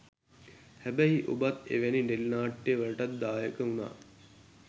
හැබැයි ඔබත් එවැනි ටෙලි නාට්‍යවලටත් දායක වුණා